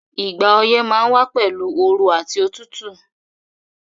Ìgbà oyẹ́ ma n wa pẹ̀lu ooru àti otútù